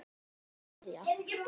Halla María.